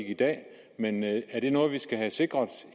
i dag men er det noget vi skal have sikret